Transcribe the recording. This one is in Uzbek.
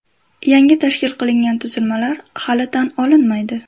Yangi tashkil qilingan tuzilmalar hali tan olinmaydi.